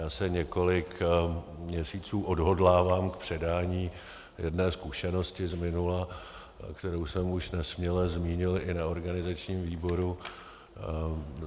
Já se několik měsíců odhodlávám k předání jedné zkušenosti z minula, kterou jsem už nesměle zmínil i na organizačním výboru.